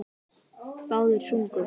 Báðir sungu.